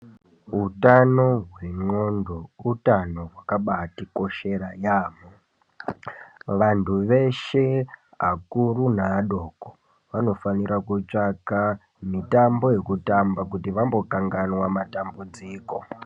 Hutano hwendxondo utano hwakabatikoshera yaamho. Vantu veshe akuru neadoko vanofanira kutsvaka mitambo yekutamba kuti vambokanganwa matambudziko.